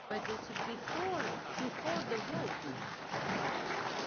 Herr Verhofstadt! Sie müssen die Texte schon sehr konkret und präzise lesen.